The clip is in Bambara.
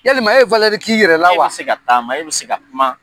Yalima e ye k'i yɛrɛ la wa ? E bi se ka taama, e bi si ka kuma.